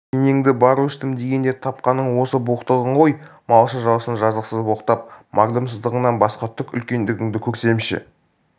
енеңді бар өстім дегенде тапқаның осы боқтығың ғой малшы-жалшыны жазықсыз боқтап мардымсығаннан басқа түк үлкендігіңді көрсемші